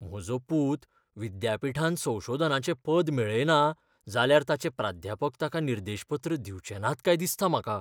म्हजो पूत विद्यापीठांत संशोधनाचें पद मेळयना जाल्यार ताचे प्राध्यापक ताका निर्देशपत्र दिवचे नात काय दिसता म्हाका.